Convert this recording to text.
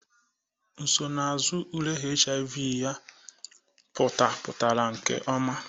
Nsonaazụ ule HIV ya pụtapụtara nke ọma